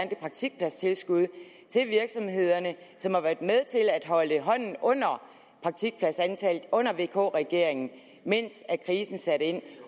det praktikpladstilskud til virksomhederne som har været med til at holde hånden under praktikpladsantallet under vk regeringen mens krisen satte ind